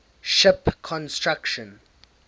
ship construction